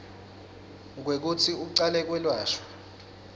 kwekutsi ucale kwelashwa